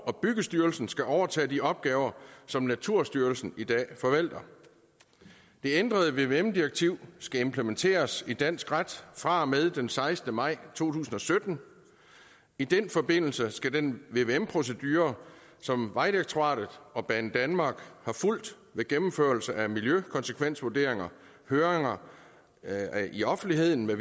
og byggestyrelsen skal overtage de opgaver som naturstyrelsen i dag forvalter det ændrede vvm direktiv skal implementeres i dansk ret fra og med den sekstende maj to tusind og sytten i den forbindelse skal den vvm procedure som vejdirektoratet og banedanmark har fulgt ved gennemførelse af miljøkonsekvensvurderinger høringer i offentligheden